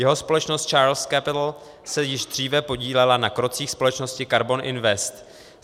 Jeho společnost Charles Capital se již dříve podílela na krocích společnosti Karbon Invest.